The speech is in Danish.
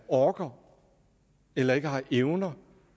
orker eller ikke har evner